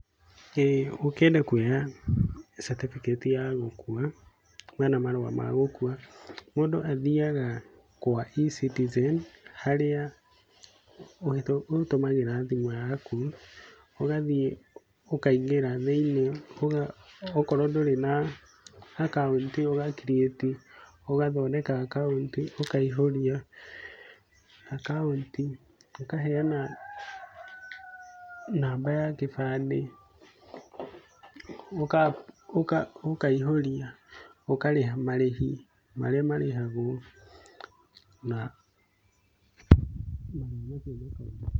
ĩĩ ũkĩenda kuoya certificate ya gukua kana marua ma gũkua, mũndũ athiaga kwa E-Citizen, harĩa ũtũmagĩra thimũ yaku, ũgathiĩ ũkaingĩra thĩiniĩ, okorwo ndũrĩ na akaũnti ũga create, ũgathondeka akaũnti, ũkaihũria akaũnti, ũkaheana namba ya kĩbandĩ, ũkaihũria, ũkarĩha marĩhi marĩa marĩhagwo. Na maũndũ macio makarĩka.